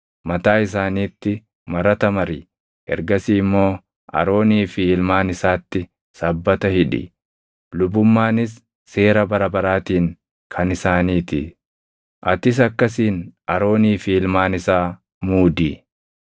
mataa isaaniitti marata mari. Ergasii immoo Aroonii fi ilmaan isaatti sabbata hidhi. Lubummaanis seera bara baraatiin kan isaanii ti. “Atis akkasiin Aroonii fi ilmaan isaa muudi.